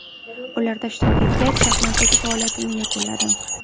Ularda ishtirok etgach, shaxmatdagi faoliyatimni yakunladim.